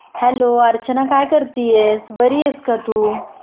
Hello Archana काय करतीयेस? बरी आहेस का तु ?